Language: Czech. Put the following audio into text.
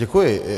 Děkuji.